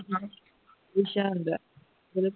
ਵਿੱਚ ਦਾ ਹੁੰਦਾ ਹੈ